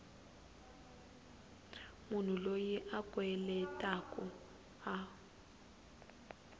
munhu loyi a kweletaku a